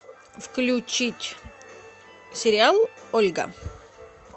включить сериал ольга